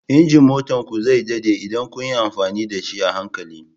Injin motar ku zai daɗe idan kun yi amfani da shi a hankali